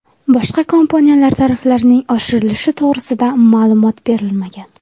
Boshqa kompaniyalar tariflarining oshirilishi to‘g‘risida ma’lumot berilmagan.